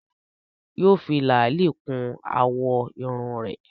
Yóò fi làálí kún àwọ̀ irun rẹ̀